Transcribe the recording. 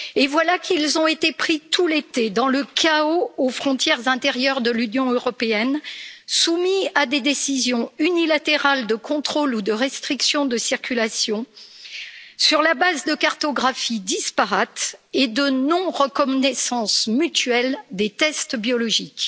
Voilà qu'ils ont été pris tout l'été dans le chaos aux frontières intérieures de l'Union européenne, soumis à des décisions unilatérales de contrôle ou de restriction de la circulation sur la base de cartographie disparates et de non reconnaissance mutuelle des tests biologiques.